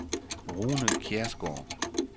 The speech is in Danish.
Rune Kjærsgaard